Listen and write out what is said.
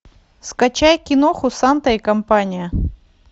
скачай киноху санта и компания